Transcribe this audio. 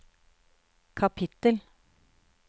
kapittel